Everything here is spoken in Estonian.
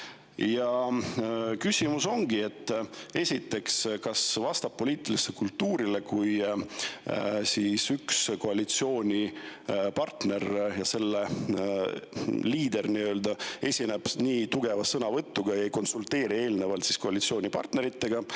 Ja esimene küsimus on, kas see vastab poliitilisele kultuurile, kui üks koalitsioonipartner ja selle liider esineb nii tugeva sõnavõtuga ja ei konsulteeri eelnevalt koalitsioonipartneritega.